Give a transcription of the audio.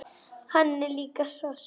Hann er líka hross!